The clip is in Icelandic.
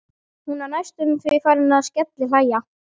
Hún var næstum því farin að skellihlæja.